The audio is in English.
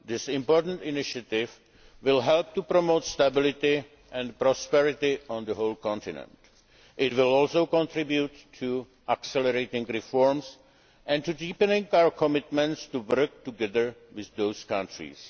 This important initiative will help to promote stability and prosperity on the whole continent. It will also contribute to accelerating reforms and to deepening our commitment to work together with those